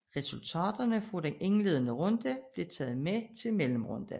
Resultaterne fra den indledende runde blev taget med til mellemrunden